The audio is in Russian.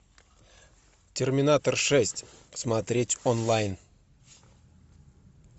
терминатор шесть смотреть онлайн